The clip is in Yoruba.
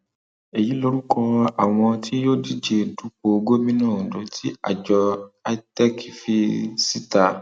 èyí lorúkọ àwọn tí yóò díje dupò gómìnà ondo tí àjọ itec fi síta